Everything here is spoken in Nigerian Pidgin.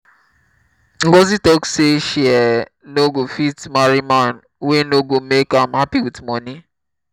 ngọzi talk say she um no go fit marry man wey no go make am happy with money